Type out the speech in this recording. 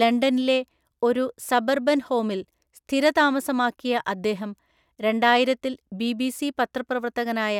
ലണ്ടനിലെ ഒരു സബർബൻ ഹോമിൽ സ്ഥിരതാമസമാക്കിയ അദ്ദേഹം രണ്ടായിരത്തില്‍ ബിബിസി പത്രപ്രവർത്തകനായ